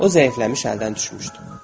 O zəifləmiş, əldən düşmüşdü.